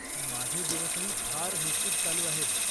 माझे दिवसही फार हेक्टिक चालू आहेत.